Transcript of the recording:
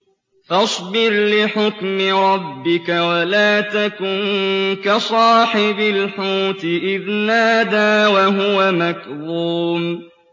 فَاصْبِرْ لِحُكْمِ رَبِّكَ وَلَا تَكُن كَصَاحِبِ الْحُوتِ إِذْ نَادَىٰ وَهُوَ مَكْظُومٌ